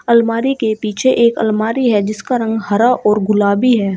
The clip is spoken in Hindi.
अलमारी के पीछे एक अलमारी है जिसका रंग हरा और गुलाबी है।